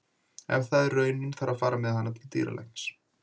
Ef það er raunin þarf að fara með hana til dýralæknis.